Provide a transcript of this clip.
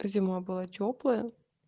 зима была тёплая